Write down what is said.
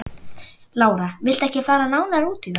Lára: Viltu ekki fara nánar út í það?